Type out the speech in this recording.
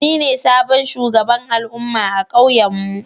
Ni ne sabon shugaban al'umma a kauyen mu.